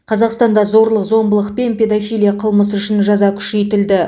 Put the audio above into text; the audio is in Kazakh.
қазақстанда зорлық зомбылық пен педофилия қылмысы үшін жаза күшейтілді